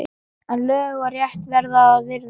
En lög og rétt verður að virða!